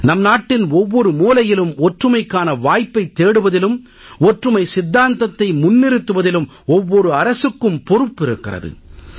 நம் நாட்டின் ஒவ்வொரு மூலையிலும் ஒற்றுமைக்கான வாய்ப்பைத் தேடுவதிலும் ஒற்றுமை சித்தாந்தத்தை முன்னிறுத்துவதிலும் ஒவ்வொரு அரசுக்கும் பொறுப்பு இருக்கிறது